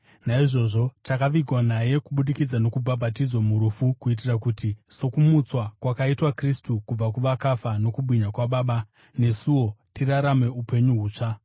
Naizvozvo takavigwa naye kubudikidza nokubhabhatidzwa murufu kuitira kuti, sokumutswa kwakaitwa Kristu kubva kuvakafa nokubwinya kwaBaba, nesuwo tirarame upenyu hutsva.